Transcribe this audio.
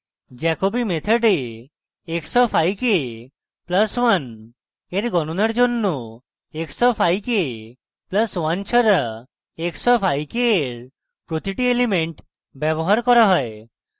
jacobi method এ x of i k + 1 in গণণার জন্য x of i k + 1 ছাড়া x of i k in প্রতিটি element ব্যবহার করা হয়